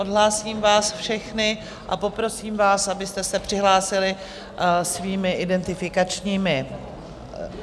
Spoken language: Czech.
Odhlásím vás všechny a poprosím vás, abyste se přihlásili svými identifikačními...